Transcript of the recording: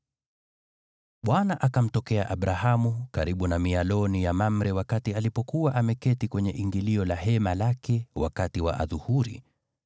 Bwana akamtokea Abrahamu karibu na mialoni ya Mamre wakati alipokuwa ameketi kwenye ingilio la hema lake wakati wa adhuhuri.